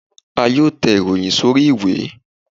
À yóò tè ìròyìn sorí ìwé